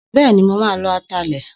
Bẹ́ẹ̀ni, mo ma ló atalẹ̀